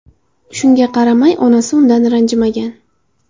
Shunga qaramay, onasi undan ranjimagan.